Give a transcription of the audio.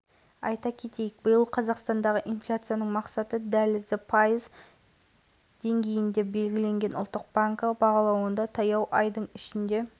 салыстыру үшін ресей еркін бағам режіміне көшкеннен кейін инфляция деңгейін айдың ішінде пайызға дейін ғана